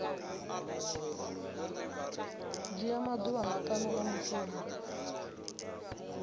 dzhia maḓuvha maṱanu a mushumo